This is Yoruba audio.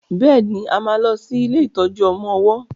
béèni a má lo sí ilé ìtọjú ọmọ ọwó